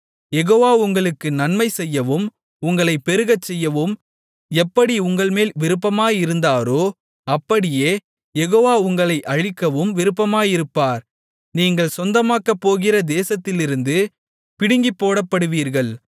யெகோவா உங்களுக்கு நன்மை செய்யவும் உங்களைப் பெருகச்செய்யவும் எப்படி உங்கள்மேல் விருப்பமாயிருந்தாரோ அப்படியே யெகோவா உங்களை அழிக்கவும் விருப்பமாயிருப்பார் நீங்கள் சொந்தமாக்கப்போகிற தேசத்திலிருந்து பிடுங்கிப் போடப்படுவீர்கள்